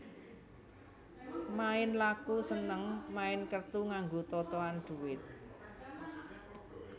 Main laku seneng main kertu nganggo totohan dhuwit